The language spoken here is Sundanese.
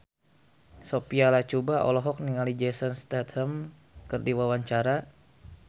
Sophia Latjuba olohok ningali Jason Statham keur diwawancara